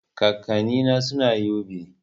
Kakanni na suna yobe